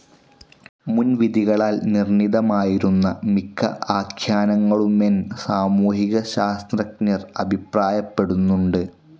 മുൻവിധികളാൽ നിർണിതമായിരുന്ന മിക്ക ആഖ്യാനങ്ങളുമെന്ൻ സാമൂഹിക ശാസ്ത്രഞ്ജർ അഭിപ്രായപ്പെടുന്നുണ്ട്.